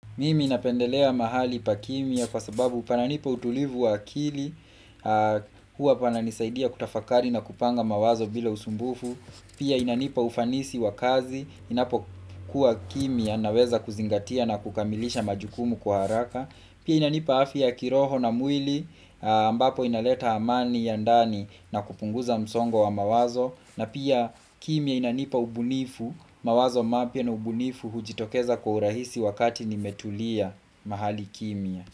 Mimi napendelea mahali pa kimya kwa sababu pananipa utulivu wa akili huwa pananisaidia kutafakari na kupanga mawazo bila usumbufu Pia inanipa ufanisi wa kazi, ninapo kuwa kimya naweza kuzingatia na kukamilisha majukumu kwa haraka Pia inanipa afya kiroho na mwili, ambapo inaleta amani ya ndani na kupunguza msongo wa mawazo na pia kimya inanipa ubunifu, mawazo mapya na ubunifu hujitokeza kwa urahisi wakati nimetulia mahali kimya.